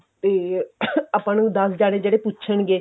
ਤੇ ਆਪਾਂ ਨੂੰ ਦਸ ਜਣੇ ਜਿਹੜੇ ਪੁਛਣਗੇ